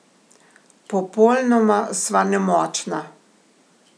Popolnoma sva nemočna!